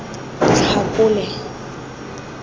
tlhakole